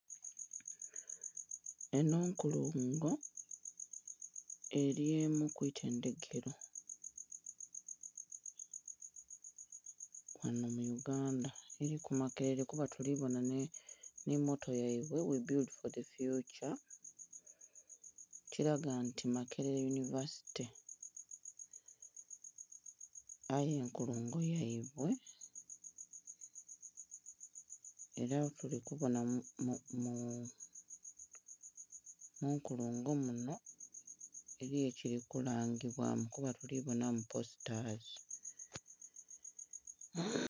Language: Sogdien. Enho nkulungo eri kwitendhekero mu Uganda liliku makerere kuba tuli bonha nhi moto yaibwe (we build for the future) ekilaga nti makerere university, aye enkulungo yaibwe era tuli kubonha munkulungo munho eriyo ekili ku langibwamu kuba tuli ku bonhamu postazi.